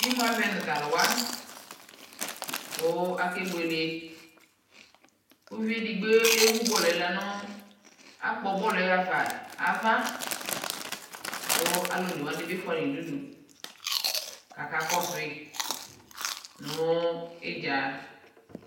imʋ avɛnʋ talʋwa kʋ alɛ bʋɛlɛ, ʋviɛ ɛdigbɔ ɛvʋ bɔlʋɛ lɛnʋ akpɔ bɔlʋɛhaƒa aɣa kʋ alʋ ɔnɛ wani bi ƒʋai nʋdʋ kʋ akakɔsʋi nʋ itza